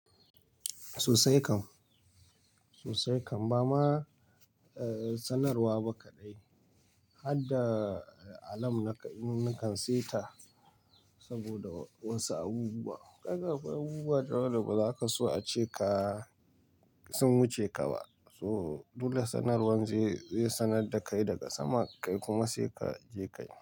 Sosai kam, sosai kam. Ba ma sanarwa ba kaɗai, har da alam nakan, nakan saita saboda wasu abubuwa. Ka ga akwai abubuwa da yawa da baza ka so ace ka sun wuce ka ba. So, dole sanarwan zai sanar da kai daga sama kai kuma sai ka je ka yi.